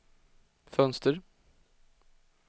fönster